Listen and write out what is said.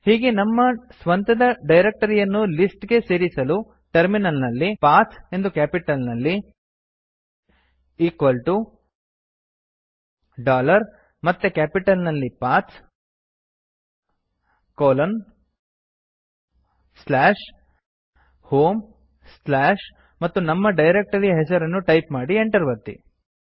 ಹೀಗೆ ನಮ್ಮ ಸ್ವಂತದ ಡೈರಕ್ಟರಿಯನ್ನು ಲಿಸ್ಟ್ ಗೆ ಸೇರಿಸಲು ಟರ್ಮಿನಲ್ ನಲ್ಲಿ p a t ಹ್ ಎಂದು ಕ್ಯಾಪಿಟಲ್ ನಲ್ಲಿ ಮತ್ತೆ ಕ್ಯಾಪಿಟಲ್ ನಲ್ಲಿ P A T H160 home ಮತ್ತು ನಮ್ಮ ಡೈರಕ್ಟರಿಯ ಹೆಸರು ಟೈಪ್ ಮಾಡಿ ಎಂಟರ್ ಒತ್ತಿ